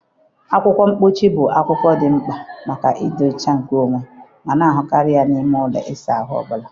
Akwụkwọ mposi bụ ihe dị mkpa maka ịdị ọcha nkeonwe ma na-ahụkarị n'ime ụlọ ịsa ahụ ọ bụla.